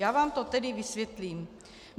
Já vám to tedy vysvětlím.